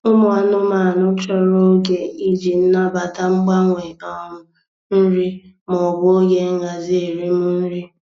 Ụmụ anụmanụ chọrọ oge iji nabata mgbanwe um nri maọbụ oge nhazi erim nri.